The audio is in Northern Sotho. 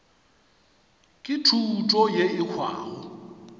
ke thuto yeo e hwago